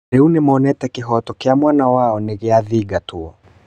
Rĩu nĩmonete kĩhoto kĩa mwana wao nĩgĩthingatĩtwo